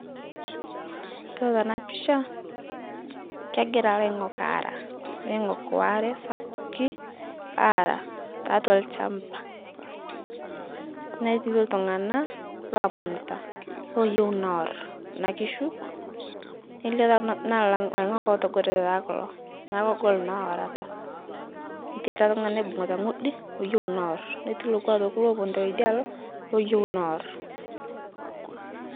Yiolo tana pisha, kengira laing'ok ara, laing'ok oare sapuki ara taatwa lchamba, netii ltung'ana loomanita loyeu noor kuna kishu, neilio taa naa laing'ok lootogorote taa kulo naa kugol taa orata, netii ale tungani oibung'uta ng'udi oyeu noor netii lokwa aitoki looponuta teidalo, looyeu noor.